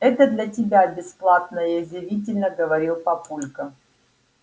это для тебя бесплатное язвительно говорил папулька